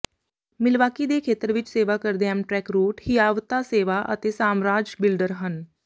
Milwaukee ਦੇ ਖੇਤਰ ਵਿੱਚ ਸੇਵਾ ਕਰਦੇ ਐਮਟਰੈਕ ਰੂਟ ਹਿਆਵਤਾ ਸੇਵਾ ਅਤੇ ਸਾਮਰਾਜ ਬਿਲਡਰ ਹਨ